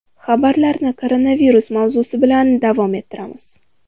Xabarlarni koronavirus mavzusi bilan davom ettiramiz.